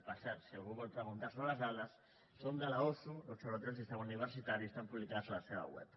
per cert si algú vol preguntar sobre les dades són de l’osu l’observatori del sistema universitari estan publicades a la seva web